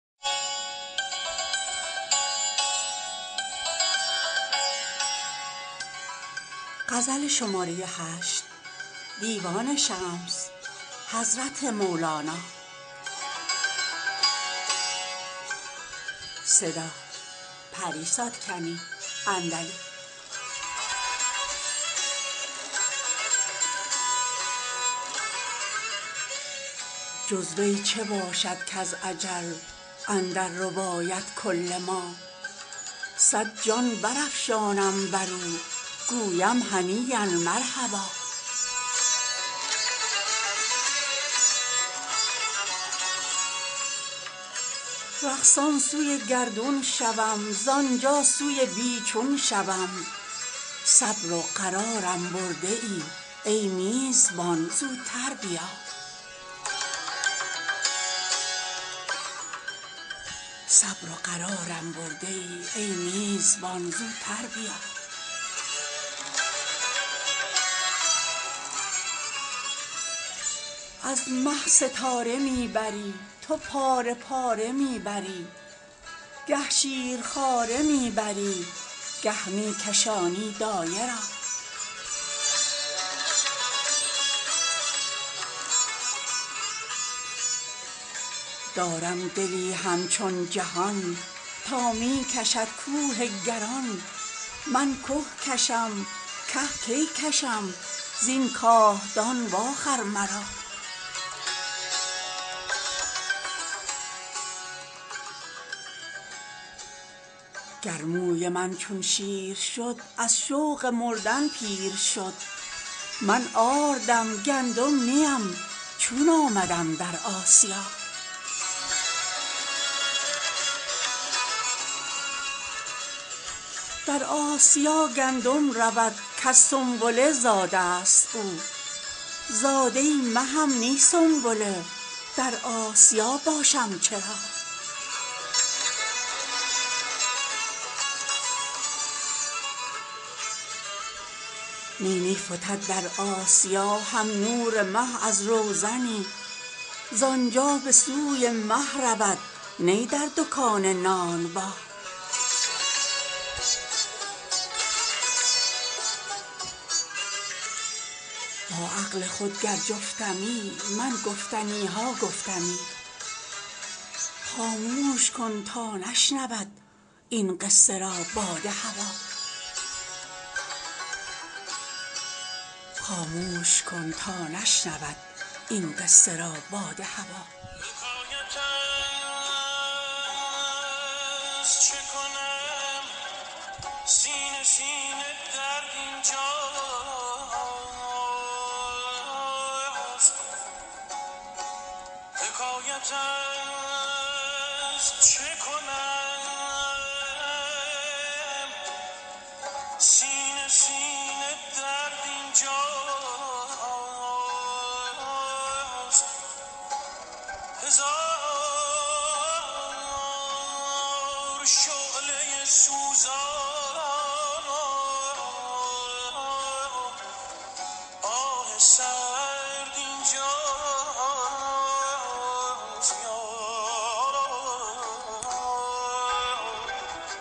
جز وی چه باشد کز اجل اندر رباید کل ما صد جان برافشانم بر او گویم هنییا مرحبا رقصان سوی گردون شوم زان جا سوی بی چون شوم صبر و قرارم برده ای ای میزبان زوتر بیا از مه ستاره می بری تو پاره پاره می بری گه شیرخواره می بری گه می کشانی دایه را دارم دلی همچون جهان تا می کشد کوه گران من که کشم که کی کشم زین کاهدان واخر مرا گر موی من چون شیر شد از شوق مردن پیر شد من آردم گندم نی ام چون آمدم در آسیا در آسیا گندم رود کز سنبله زاده ست او زاده مهم نی سنبله در آسیا باشم چرا نی نی فتد در آسیا هم نور مه از روزنی زان جا به سوی مه رود نی در دکان نانبا با عقل خود گر جفتمی من گفتنی ها گفتمی خاموش کن تا نشنود این قصه را باد هوا